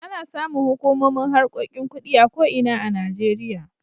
Ana samun hukumomin harkokin kuɗi a ko ina a Najeriya.